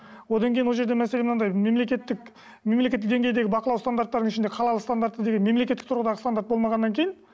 одан кейін ол жерде мәселе мынандай мемлекеттік мемлекеттік деңгейдегі бақылау стандарттардың ішінде қалалық стандарты деген мемлекеттік тұрғыдан стандарт болмағаннан кейін